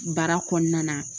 Baara kɔɔna na